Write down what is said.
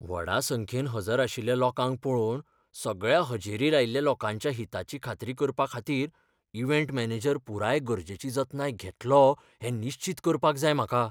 व्हडा संख्येन हजर आशिल्ल्या लोकांक पळोवन, सगळ्या हजेरी लायिल्ल्या लोकांच्या हिताची खात्री करपाखातीर इव्हेंट मॅनेजर पुराय गरजेची जतनाय घेतलो हें निश्चीत करपाक जाय म्हाका.